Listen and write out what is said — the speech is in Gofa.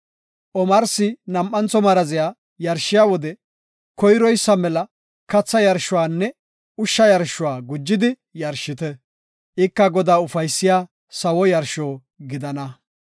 Omarsi nam7antho maraziya yarshiya wode koyroysa mela katha yarshuwanne ushsha yarshuwa gujidi yarshite. Ika Godaa ufaysiya sawo yarsho gidana.”